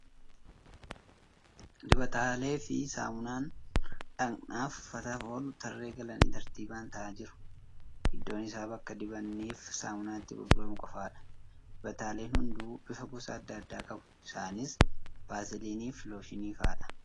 Dibataalee fi saamunaan dhaqnaa fi uffataaf oolu tarree galanii tartiibaan taa'aa jiru. Iddoon isaa bakka dibannii f saamunaan itti gurguramu qofaadha. Dibataaleen hunduu bifa gosaa adda addaa qabu. Isaaniis Vaasiliiniifi looshinii fa'aadha.